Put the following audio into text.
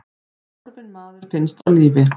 Horfinn maður finnst á lífi